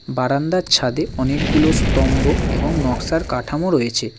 বারান্দার ছাদে অনেকগুলো স্তম্ভ এবং নকশার কাঠামো রয়েছে।